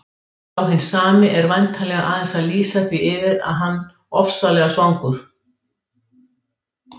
Sá hinn sami er væntanlega aðeins að lýsa því yfir að hann ofsalega svangur.